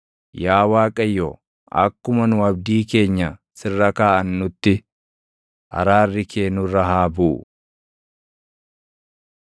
Yaa Waaqayyo, akkuma nu abdii keenya sirra kaaʼannutti, araarri kee nurra haa buʼu.